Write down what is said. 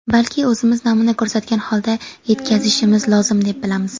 balki o‘zimiz namuna ko‘rsatgan holda yetkazishimiz lozim deb bilamiz.